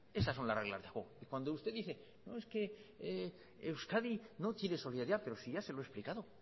esas son las reglas del juego y cuando usted dice no es que euskadi no tiene solidaridad pero si ya se lo he explicado